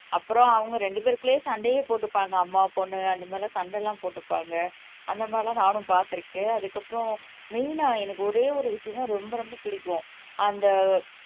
அப்புறம் அவங்க ரெண்டுபெருக்குல்லேயே சண்டையே போட்டுக்குவாங்க அம்மா பொண்ணு அந்த மாதிரி எல்லாம் சண்டை எல்லாம் போட்டுப்பாங்க அந்த மாதிரி எல்லாம் நானும் பாத்துருக்கேன் அதுக்கு அப்புறம் மெயினா எனக்கு ஒரே ஒரு விசயம் தான் எனக்கு ரொம்ப ரொம்ப பிடிக்கும் அந்த